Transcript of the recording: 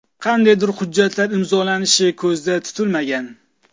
Qandaydir hujjatlar imzolanishi ko‘zda tutilmagan.